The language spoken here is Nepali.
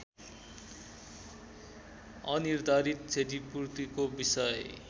अनिर्धारित क्षतिपूर्तिको विषय